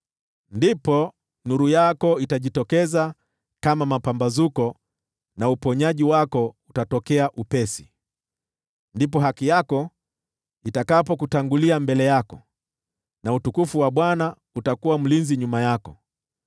Ndipo nuru yako itajitokeza kama mapambazuko na uponyaji wako utatokea upesi; ndipo haki yako itakapokutangulia mbele yako, na utukufu wa Bwana utakuwa mlinzi nyuma yako.